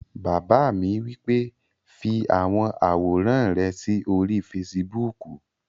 Bàbá mi wí pé "fi àwọn àwòrán rẹ sí orí fesibúùkù!"